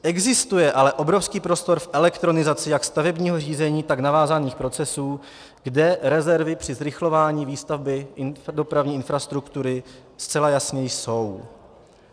Existuje ale obrovský prostor v elektronizaci jak stavebního řízení, tak navázaných procesů, kde rezervy při zrychlování výstavby dopravní infrastruktury zcela jasně jsou.